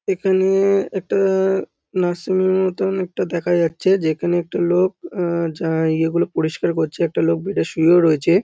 এখানে-এ একটা-আ nursing home -এর মতন একটা দেখা যাচ্ছে যেখানে একটা লোক আহ যা ইয়েগুলো পরিস্কার করছে একটা লোক এটা বেড -এ শুয়েও রয়েছে ।